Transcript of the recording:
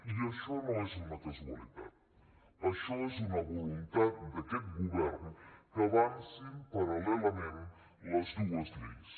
i això no és una casualitat això és una voluntat d’aquest govern que avancin parallelament les dues lleis